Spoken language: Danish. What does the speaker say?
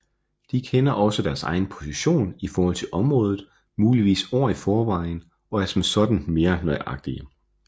De kender også deres egen position i forhold til området muligvis år i forvejen og er som sådan mere nøjagtige